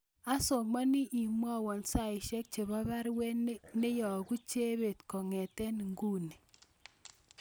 Asome imwowon saisyek chebo baruet neiyogu Chebet kongeten inguni